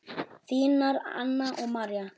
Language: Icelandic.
Þínar Anna og María.